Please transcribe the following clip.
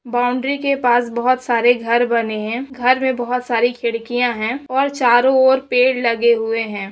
Boundary के पास बहुत सारे घर बने है घर में बहुत सारी खिड़कियां है और चारों और पेड़ लगे हुए है।